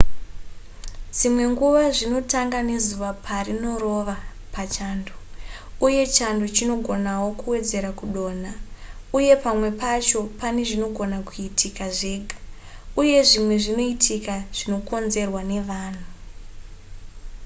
dzimwe nguva zvinotanga nezuva parinorova pachando uye chando chinogonawo kuwedzera kudonha uye pamwe pacho pane zvinogona kuitika zvega uye zvimwe zvinoitika zvinokonzerwa nevanhu